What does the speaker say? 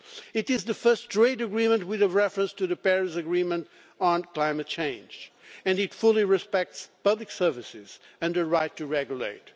It is the first trade agreement with a reference to the Paris Agreement on climate change and it fully respects public services and the right to regulate.